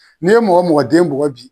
N'i ye mɔgɔ mɔgɔ den bugɔ bi.